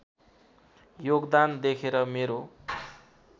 योगदान देखेर मेरो